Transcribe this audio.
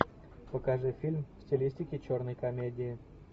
покажи фильм в стилистике черной комедии